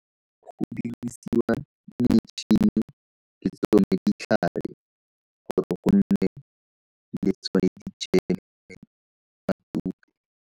Go dirisiwa metšhini le tsone ditlhare gore go nne le tsone dijeme .